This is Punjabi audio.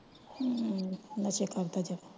ਹਮ ਵੈਸੇ ਕਰਤਾ ਚਲ।